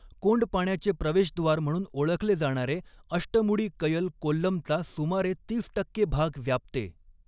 कोंडपाण्याचे प्रवेशद्वार म्हणून ओळखले जाणारे अष्टमुडी कयल कोल्लमचा सुमारे तीस टक्के भाग व्यापते.